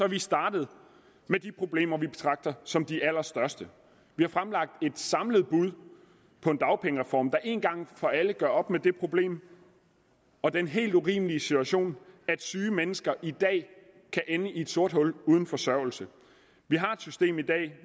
vi startet med de problemer som vi betragter som de allerstørste vi har fremlagt et samlet bud på en dagpengereform der en gang for alle gør op med det problem og den helt urimelige situation at syge mennesker i dag kan ende i et sort hul uden forsørgelse vi har et system i dag